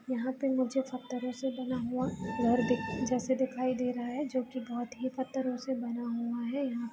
यहाँ पे मुझे सब तरह से बना हुआ घर दिख जैसे दिखाई दे रहा है जो की बहुत ही पत्थरों से बना हुआ है यहाँ |